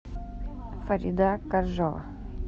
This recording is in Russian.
фарида коржова